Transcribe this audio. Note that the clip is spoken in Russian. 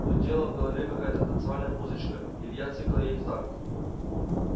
нудела в голове какая-то танцевальная музычка илья цыкал ей в такт